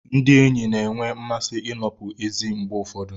Ndị enyi na-enwe mmasị ịnọpụ ezi mgbe ụfọdụ.